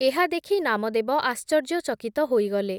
ଏହାଦେଖି ନାମଦେବ ଆଶ୍ଚର୍ଯ୍ୟଚକିତ ହୋଇଗଲେ ।